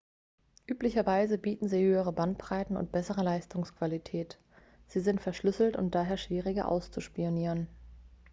üblicherweise bieten sie höhere bandbreiten und bessere leistungsqualität sie sind verschlüsselt und daher schwieriger auszuspionieren